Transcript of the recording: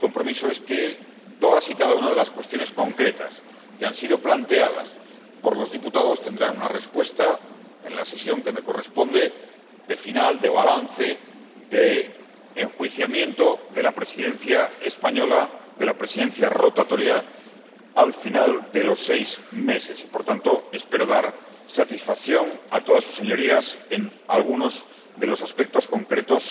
Mi compromiso es que todas y cada una de las cuestiones concretas que han sido planteadas por los diputados tendrán una respuesta en la sesión que me corresponde de final, de balance, de enjuiciamiento de la Presidencia rotatoria española, al final de los seis meses y, por tanto, espero dar satisfacción a todas sus Señorías en algunos de los aspectos concretos,